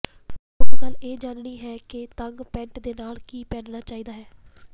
ਮੁੱਖ ਗੱਲ ਇਹ ਜਾਣਨੀ ਹੈ ਕਿ ਤੰਗ ਪੈਂਟ ਦੇ ਨਾਲ ਕੀ ਪਹਿਨਣਾ ਚਾਹੀਦਾ ਹੈ